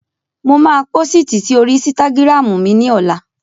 Mo máa pósìtì si oríi ísítágírámù ní ọlá